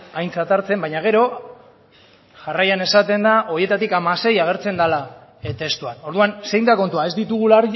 aintzat hartzen baina gero jarraian esaten da horietatik hamasei agertzen dela testuan orduan zein da kontua ez ditugula